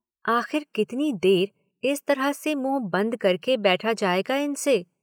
आखिर कितनी देर इस तरह से मुंह बंद करके बैठा जाएगा इनसे?